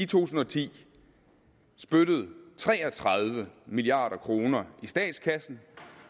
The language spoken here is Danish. tusind og ti spyttede tre og tredive milliard kroner i statskassen